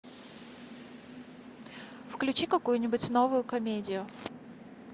включи какую нибудь новую комедию